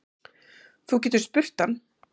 Þú getur spurt hann.